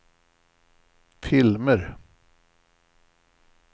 filmer